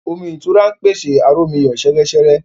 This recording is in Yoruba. Omí ìtura pèsè aromiyo seresere